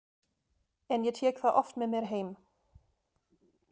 En ég tek það oft með mér heim.